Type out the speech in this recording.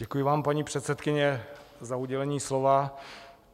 Děkuji vám, paní předsedkyně, za udělení slova.